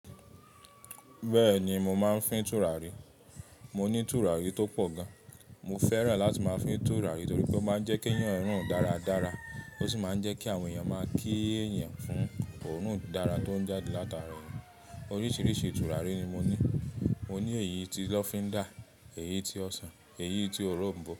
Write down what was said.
Bẹ́ẹ̀ni mo máa ń fín tùràrí. Mo ní tùràrí tó pọ̀ gan. Mo fẹ́ràn láti máa fín tùràrí torí pé ó máa ń jẹ́ kí èèyàn rùn dáradára, ó sì máa ń jẹ́ kí àwọn èèyàn máa kí èèyàn fún òórùn dára tó ń jáde látara èèyàn. Oríṣiríṣi tùràrí ni mo ní. Mo ní èyí tí lọ́fíndà, èyí tí ọsàn, èyí tí òronbó.